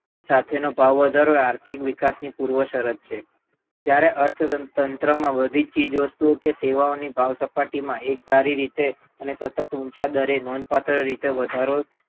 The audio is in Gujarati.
સાથેનો ભાવ વધારો આર્થિક વિકાસ ની પૂર્વ શરત છે જયારે અર્થતંત્રમાં બધીજ ચીજ વસ્તુઓ કે સેવાઓની ભાવસપાટીમાં એકધારી રીતે અને સતત ઉંચા દરે નોંધપાત્ર રીતે વધારો